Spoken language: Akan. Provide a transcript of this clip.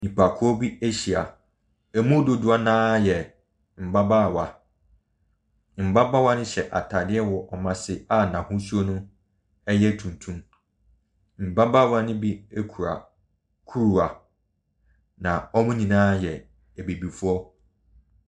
Nnipakuo bi ahyia. Emu dodoɔ no ara yɛ mmabaawa. Mmabaawa no hyɛ atade wɔ wɔn ase a n'ahosuo no yɛ tuntum. Mmabaawa no bi kura kuruwa, na wɔn nyinaa yɛ abibifoɔ.